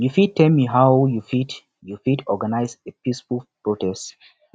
you fit tell me how you fit you fit organize a peaceful protest